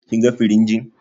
Kin ga firinjin?